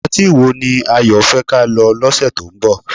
Patí wo ni Ayo fẹ́ ka lọ lọ́sẹ̀ tó ń bọ̀?